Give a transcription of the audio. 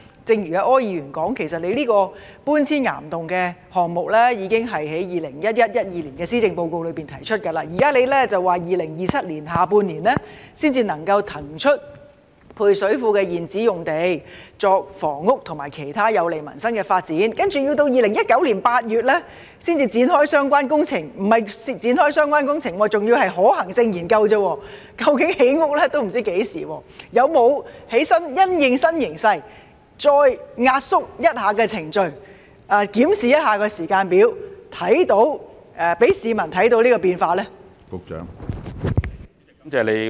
正如柯議員提到，其實局方這個把配水庫搬遷往岩洞的項目在 2011-2012 年度施政報告已提出，現在局長表示要在2027年下半年才能夠騰出配水庫現址用地作房屋和其他有利民生的發展；接着要到2019年8月才會展開相關工程——不是展開相關工程，只是可行性研究而已，也不知道何時才能興建房屋——當局是否有因應新形勢，再壓縮程序，檢視時間表，讓市民看到變化呢？